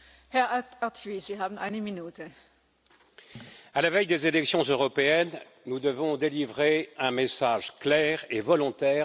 Madame la Présidente, à la veille des élections européennes, nous devons délivrer un message clair et volontaire aux citoyens.